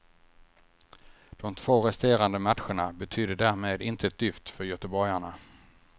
De två resterande matcherna betydde därmed inte ett dyft för göteborgarna.